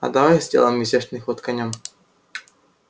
а давай сделаем изящный ход конём